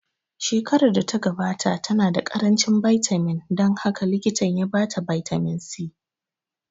Shekarar da ta gabata ta na da ƙaranci bitamin dan haka likitan ya ba ta bitamin C